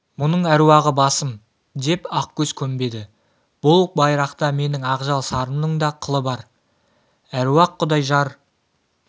мұның әруағы басым деп ақкөз көнбеді бұл байрақта менің ақжал сарымның да қылы бар әруақ-құдай жар